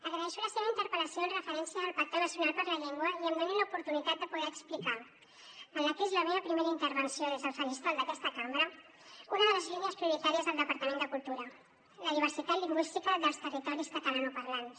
agraeixo la seva interpel·lació amb referència al pacte nacional per la llengua i que em donin l’oportunitat de poder explicar en la que és la meva primera intervenció des del faristol d’aquesta cambra una de les línies prioritàries del departament de cultura la diversitat lingüística dels territoris catalanoparlants